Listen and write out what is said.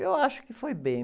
Eu acho que foi bem.